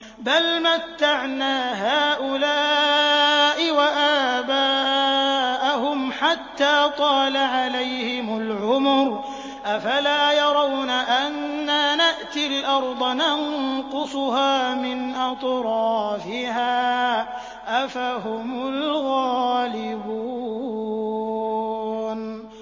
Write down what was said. بَلْ مَتَّعْنَا هَٰؤُلَاءِ وَآبَاءَهُمْ حَتَّىٰ طَالَ عَلَيْهِمُ الْعُمُرُ ۗ أَفَلَا يَرَوْنَ أَنَّا نَأْتِي الْأَرْضَ نَنقُصُهَا مِنْ أَطْرَافِهَا ۚ أَفَهُمُ الْغَالِبُونَ